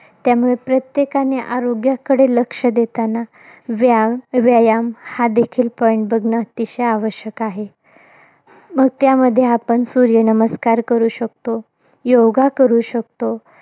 त्यामुळे, प्रत्येकाने आरोग्याकडे लक्ष देतांना, व्याम व्यायाम, हा देखील point बघणं, अत्यंत आवश्यक आहे. मग त्यामध्ये आपण, सूर्यनमस्कार करू शकतो, योगा करू शकतो.